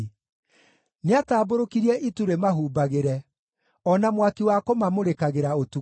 Nĩatambũrũkirie itu rĩmahumbagĩre, o na mwaki wa kũmamũrĩkagĩra ũtukũ.